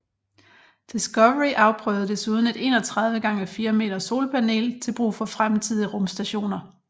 Discovery afprøvede desuden et 31 x 4 m solpanel til brug for fremtidige rumstationer